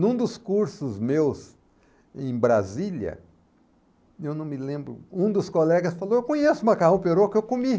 Num dos cursos meus em Brasília, eu não me lembro, um dos colegas falou, eu conheço o macarrão perocco, eu comi.